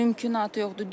Mümkünatı yoxdur.